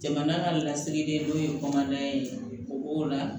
Jamana ka lasigiden n'o ye bamanankan ye o b'o la